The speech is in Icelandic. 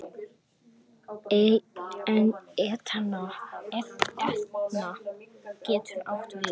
Etna getur átt við